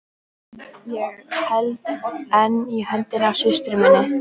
Ég held enn í höndina á systur minni.